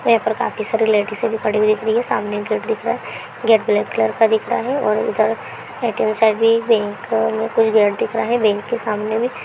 यहाँ पर काफी सारी लेडीसें भी खड़ी हुई दिख रही हैं । सामने एक गेट दिख रहा है| गेट ब्लैक कलर का दिख रहा है| और इधर ए_टी_एम साइड भी व्हीकल कुछ गेट दिख रहा है| गेट के सामने में --